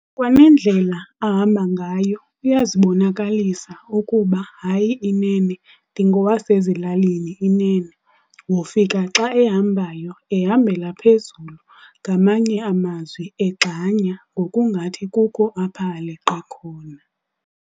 kwanendlela ahamba ngayo uyazibonakalisa ukuba hayi inene ndingowasezilaklini inene, wofika xa ehambayo ehambela phezulu ngamanye amazwi egxanya mngokungathi kukho apho aleqa khona.